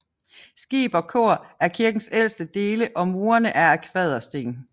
Skib og kor er kirkens ældste dele og murene er af kvadersten